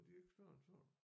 Og de er ikke større end sådan